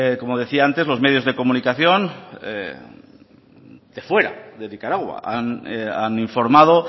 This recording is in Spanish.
como decía antes los medios de comunicación de fuera de nicaragua han informado